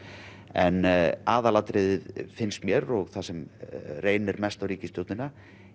en aðal atriðið finnst mér og það sem reynir mest á ríkisstjórnina